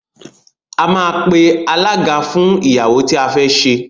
A máa pe alága fún ìyàwó tí a fé ṣe.